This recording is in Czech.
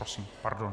Prosím, pardon.